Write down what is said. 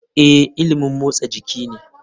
Ee, ilimin motsa jiki ne.